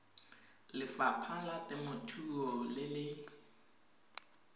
lefapha la temothuo le le